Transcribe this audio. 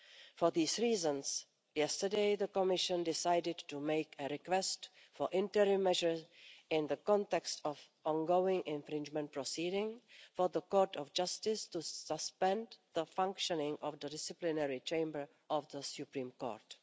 For these reasons, yesterday the Commission decided to make a request for interim measures in the context of ongoing infringement proceedings for the Court of Justice to suspend the functioning of the disciplinary Chamber of the Supreme Court.